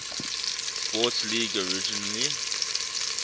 sports league originally